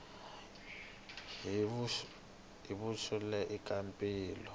hi vuxoperi i ka mpimo